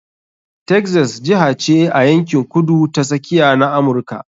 Texas jiha ce a yankin Kudu ta Tsakiya na Amurka.